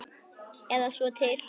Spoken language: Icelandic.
Eða svo til.